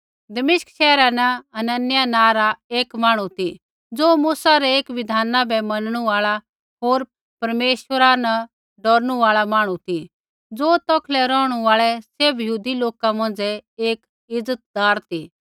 दमिश्क शैहरा न हनन्याह नाँ रा एक मांहणु ती ज़ो मूसा रै एक बिधाना बै मैनणु आल़ा होर परमेश्वरा न डौरनू आल़ा मांहणु ती ज़ो तौखलै रौहणु आल़ै सैभ यहूदी लोका मौंझ़ै एक इज़तदार ती